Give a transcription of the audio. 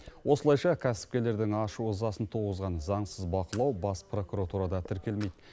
осылайша кәсіпкерлердің ашу ызасын туғызған заңсыз бақылау бас прокуратурада тіркелмейді